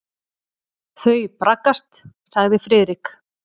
Þau braggast sagði Friðrik.